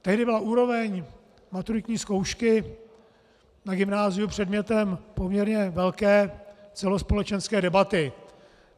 Tehdy byla úroveň maturitní zkoušky na gymnáziu předmětem poměrně velké celospolečenské debaty.